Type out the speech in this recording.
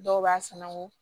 Dɔw b'a sanango